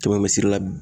Kɛmɛ misiri la